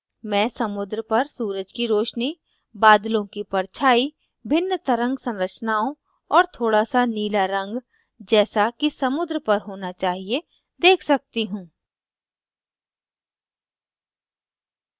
मैं समुद्र पर सूरज की रोशनी बादलों की परछाई भिन्न तरंग संरचनाओं और थोड़ा सा नीला रंग जैसा कि समुद्र पर होना चाहिए देख सकती हूँ